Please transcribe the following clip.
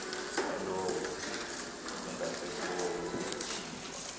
yalowo ungasekhoyo ukuthinjwa